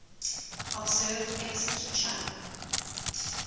observed exit channel